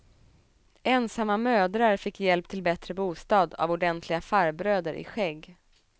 Ensamma mödrar fick hjälp till bättre bostad av ordentliga farbröder i skägg.